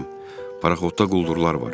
Cim, paraxodda quldurlar var.